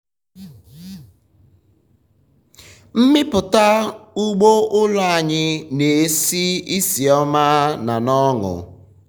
mmipụta ụgbọ ụlọ um anyị na-esi isi ihuọma na na ọṅụ.